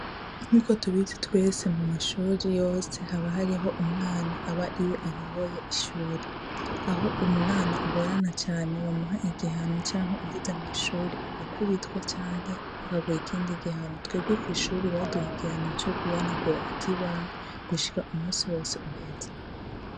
Uko tubizi twese mu mashure yose haba harih'umwana abari ayoboye ishuri. Aho umwana agorana cane bamuha ihihano canke uwuvuze mw'ishure agakubitwa canke bakaguha ikindi gihano. Twebwe kw'ishure baduha igihano co guhanagura ikibaho gushika umusi wose uheze.